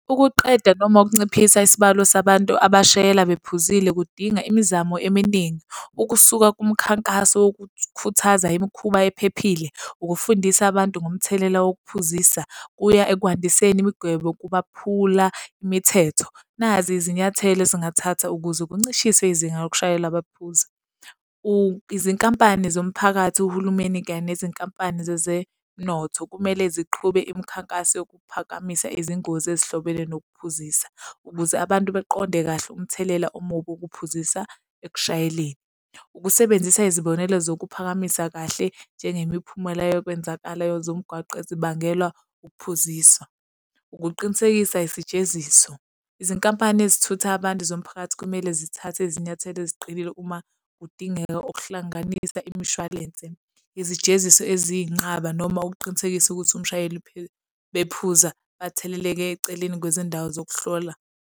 Ukuqeda noma ukunciphisa isibalo sabantu abashayela bephuzile, kudinga imizamo eminingi. Ukusuka kumkhankaso wokukhuthaza imikhuba ephephile, ukufundisa abantu ngomthelela wokuphuzisa kuya ekwandiseni imigwebo kubaphula imithetho. Nazi izinyathelo ezingathatha ukuze kuncishiswe izinga lokushayela abaphuzi. Izinkampani zomphakathi uhulumeni kanye nezinkampani zezenotho kumele ziqhube imikhankaso yokuphakamisa izingozi ezihlobene nokuphuzisa, ukuze abantu baqonde kahle umthelela omubi wokuphuzisa ekushayeleni. Ukusebenzisa izibonelo zokuphakamisa kahle njengemiphumela yokwenzakalayo zomgwaqo ezibangelwa ukuphuziswa. Ukuqinisekisa isijeziso. Izinkampani ezithutha abantu zomphakathi kumele zithathe izinyathelo eziqinile uma kudingeka ukuhlanganisa imishwalense. Izijeziso eziyinqaba noma ukuqinisekisa ukuthi umshayeli bephuza atheleleke eceleni kwezindawo zokuhlola.